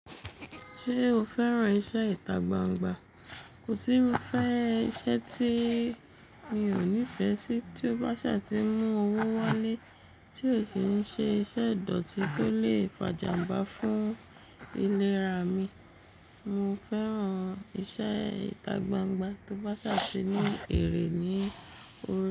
Ṣé o fẹ́ran iṣẹ́ ìtagbangba? Kò sí irú iṣẹ́ tí mi ò ní fẹ́ sí, tí ó bá ṣà ti ń mú owó wálé tí ó sì ń ṣe iṣẹ́ ìdọ̀tí tó lè fàjàǹmbá fún ìlera mi. Mo fẹ́ran iṣẹ́ ìtagbangba tó bá ṣà sì ní èrè ní orí rẹ.